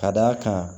Ka d'a kan